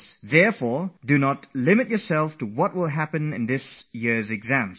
So don't brood over what is going to happen in these exams this year